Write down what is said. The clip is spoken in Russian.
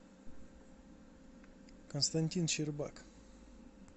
константин щербак